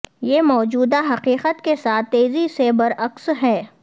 یہ موجودہ حقیقت کے ساتھ تیزی سے برعکس ہے